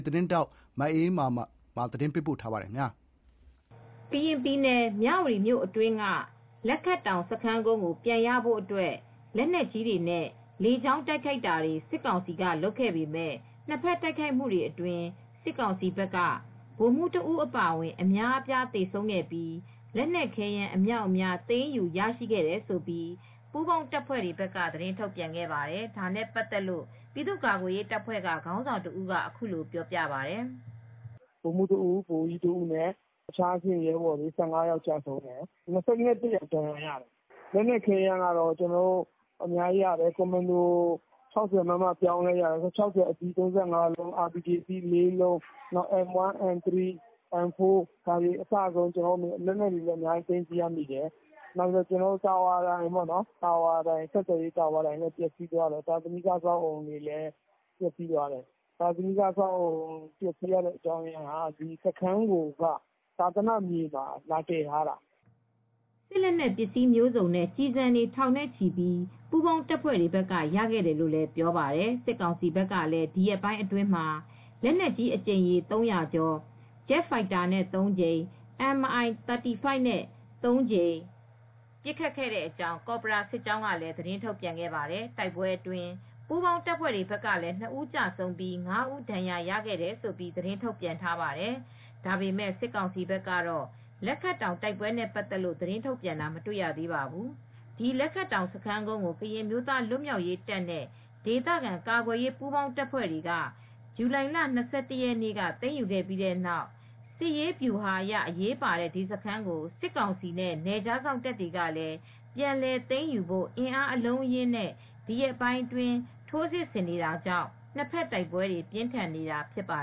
သတင်းထောက် မအေးအေးမာက သတင်းပေးပို့ ထားပါတယ်။ ကရင်ပြည်နယ် မြဝတီမြို့အတွင်းက လက်ခတ်တောင်စခန်းကုန်းကို ပြန်ရဖို့လက်နက်ကြီးတွေနဲ့ လေကြောင်းတိုက်ခိုက်တာတွေ စစ်ကောင်စီကလုပ်ခဲ့ပေမဲ့ နှစ်ဘက်တိုက်ခိုက်မှုတွေအတွင်း စစ်ကောင်စီဘက်က ဗိုလ်မှူး ဦးအပါအဝင် အများအပြားသေဆုံးခဲ့ပြီး လက်နက်ခဲယမ်းအမြောက်အများ သိမ်းယူရရှိခဲ့တယ်လို့ ပူးပေါင်းတပ်ဖွဲ့ဘက်က သတင်းထုတ်ပြန်ပါတယ်။ ဒါနဲ့ပတ်သက်လို့ ပြည်သူ့ကာကွယ်ရေးတပ်ဖွဲ့က ခေါင်းဆောင်တဦးက ခုလို ပြောပါတယ်။ "ဗိုလ်မှူး ဦး၊ ဗိုလ်ကြီး ဦးအပါအဝင် အခြားအဆင့်ရဲဘော် စုစုပေါင်း ဦးကျဆုံးတယ်။ ဦး ဒဏ်ရာရရှိခဲ့ပါတယ်။ လက်နက်ခဲယမ်းကတော့ 60 mm ကွန်မန်ဒိုပြောင်း လက်၊ 60 mm ဗုံးသီး လုံး၊ RPG အသီးတွေကော ရတယ်။ MA4 ၊ MA3 ၊ MA2 ၊ MA1 လက်နက်တွေလည်း အများကြီးရတယ်။ ဆက်သွယ်ရေး တာဝါတိုင်လည်း ပျက်စီးသွားတယ်။ ပြီးတော့ သာသနိက အဆောက်အဦးတချို့လည်း ပျက်စီးသွားတယ်။ ပျက်စီးရခြင်းအကြောင်းရင်းက ဒီစခန်းကုန်းကို သာသနာမြေမှာ လာတည်ထားတာ ဖြစ်ပါတယ်။" စစ်လက်နက်ပစ္စည်းမျိုးစုံနဲ့ ကျည်ဆံတွေ ထောင်နဲ့ချီလည်း ပူးပေါင်းတပ်ဖွဲ့တွေက ရခဲ့တယ်လို့ ပြောပါတယ်။ စစ်ကောင်စီဘက်ကလည်း ဒီရက်ပိုင်းအတွင်းမှာ လက်နက်ကြီး အကြိမ်ရေ ကျော်၊ Jet Fighter နဲ့ ကြိမ်၊ Mi-35 နဲ့ ကြိမ် ပစ်ခတ်ခဲ့တဲ့ အကြောင်း ကော်ဘရာစစ်ကြောင်းက သတင်း ထုတ်ပြန်ခဲ့ပါတယ်။ တိုက်ပွဲအတွင်း ပူးပေါင်းတပ်ဖွဲ့ဘက်ကလည်း ၂ ဦး ကျဆုံးပြီး ၅ ဦး ဒဏ်ရာရတယ်လို့ သတင်းထုတ်ပြန် ထားပါတယ်။ ဒါပေမဲ့ စစ်ကောင်စီဘက်ကတော့ လက်ခတ်တောင်တိုက်ပွဲတွေနဲ့ပတ်သက်လို့ သတင်းထုတ်ပြန်တာ မတွေ့ရသေးပါဘူး။ ဒီလက်ခတ်တောင်စခန်းကုန်းကို ကရင်အမျိုးသား လွတ်မြောက်ရေးတပ်နဲ့ ဒေသခံကာကွယ်ရေး ပူးပေါင်းတပ်ဖွဲ့တွေက ဇူလိုင်လ၂၁ ရက်နေ့က သိမ်းယူခဲ့ပြီးနောက် စစ်ရေးဗျူဟာအရ အရေးပါတဲ့ဒီစခန်းကို စစ်ကောင်စီနဲ့ နယ်ခြားစောင့်တပ်တွေကလည်း ပြန်လည်သိမ်းယူဖို့ အင်းအားအလုံးအရင်းနဲ့ ဒီရက်ပိုင်း ထိုးစစ်ဆင်နေတာကြောင့် နှစ်ဘက်တိုက်ပွဲတွေ ပြင်းထန်နေတာ ဖြစ်ပါ